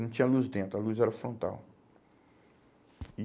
Não tinha luz dentro, a luz era frontal. E